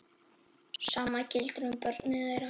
Sama gildir um börnin þeirra.